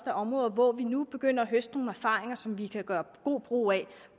er områder hvor vi nu begynder høste nogle erfaringer som vi kan gøre god brug af